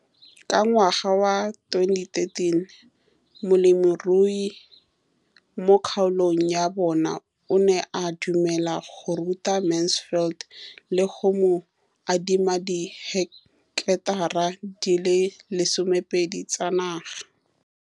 Ka ngwaga wa 2013, molemirui mo kgaolong ya bona o ne a dumela go ruta Mansfield le go mo adima di heketara di le 12 tsa naga.